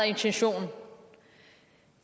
intentionen